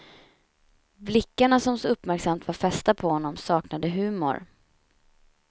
Blickarna som så uppmärksamt var fästa på honom saknade humor.